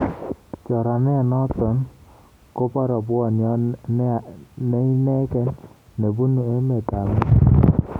Choranenoto k kobo rabwoniot neinegei nebubu emetab mexico